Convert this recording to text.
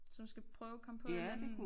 Som skal prøve at komme på en eller anden en